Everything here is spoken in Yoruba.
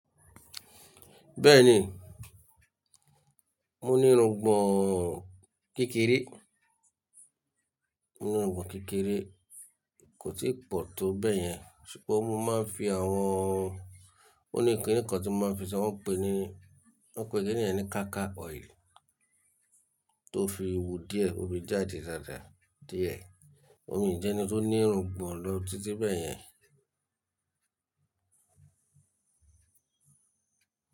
Bẹ́ẹ̀ni, mo ní irungbọ̀n kékeré. Mo ní irungbọ̀n kékeré, kò tí pọ̀ tó bẹ́yẹn ṣùgbọ́n mo máa ń fi àwọn, ó ní kini kan tí máa ń fi ṣi wọ́n ń pè ni, wọ́n pè kini yẹn ni ká kà oil tó fi wú díẹ̀ ó fi jáde dáadáa díẹ̀. Ò mii jẹ́ ẹni tó ní irungbọ̀n lọ títí bẹ́yẹn.